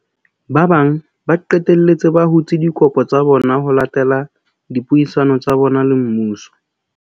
Ba bang ba qetelletse ba hutse dikopo tsa bona ho latela dipuisano tsa bona le mmuso.